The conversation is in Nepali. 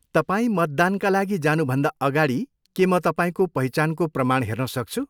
तपाईँ मतदानका लागि जानुभन्दा अगाडि के म तपाईँको पहिचानको प्रमाण हेर्नसक्छु?